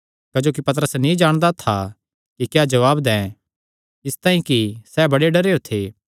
क्जोकि पतरस नीं जाणदा था कि क्या जवाब दैं इसतांई कि सैह़ बड़े डरेयो थे